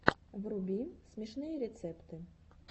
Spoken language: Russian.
вруби смешные рецепты